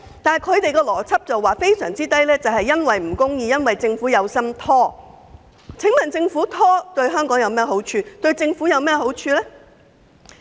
按他們的邏輯，數字偏低是由於程序不公，政府有心拖延，但這對香港和政府有何好處？